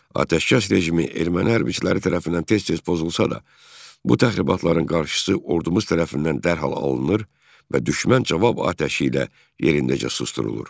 Ateşkəs rejimi erməni hərbiçiləri tərəfindən tez-tez pozulsa da, bu təxribatların qarşısı ordumuz tərəfindən dərhal alınır və düşmən cavab atəşi ilə yerindəcə susdurulur.